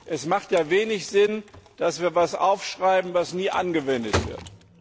Es macht wenig Sinn, dass wir etwas aufschreiben, das nie angewendet wird.